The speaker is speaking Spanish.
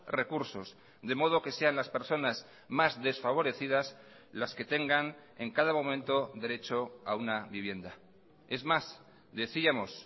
recursos de modo que sean las personas más desfavorecidas las que tengan en cada momento derecho a una vivienda es más decíamos